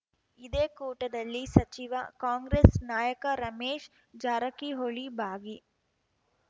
ಇದೇ ಕೂಟದಲ್ಲಿ ಸಚಿವ ಕಾಂಗ್ರೆಸ್‌ ನಾಯಕ ರಮೇಶ್‌ ಜಾರಕಿಹೊಳಿ ಭಾಗಿ